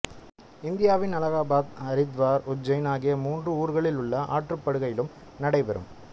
இந்தியாவின் அலகாபாத் அரித்வார் உஜ்ஜைன் ஆகிய மூன்று ஊர்களில் உள்ள ஆற்றுப்படுகையிலும் நடைபெறும்